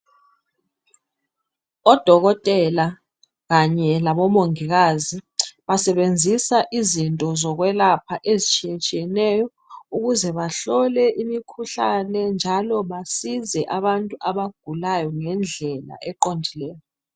Odokotela kanye labomongikazi basebenzisa izinto zokwelapha ezitshiyetshiyeneyo ukuze bahlole imikhuhlane njalo basize abantu abagulayo ngendlela eqondileyo.